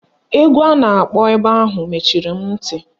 Egwu a na-akpọ ebe ahụ mechiri m ntị